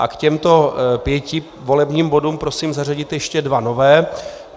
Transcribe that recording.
A k těmto pěti volebním bodům prosím zařadit ještě dva nové.